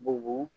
Bugu